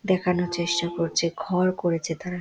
দেখানোর চেষ্টা করছে ঘর করেছে তারা--